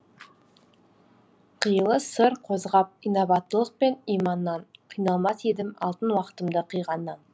қилы сыр қозғап инабаттылық пен иманнан қиналмас едім алтын уакытымды қиғаннан